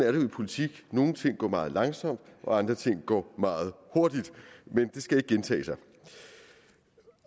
jo i politik nogle ting går meget langsomt og andre ting går meget hurtigt men det skal ikke gentage sig